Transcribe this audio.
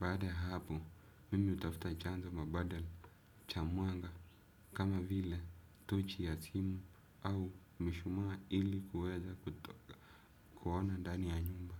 Baada ya hapo, mimi hutafuta chanzo mabadala cha mwanga kama vile tochi ya simu au mishumaa ili kuweza kuona ndani ya nyumba.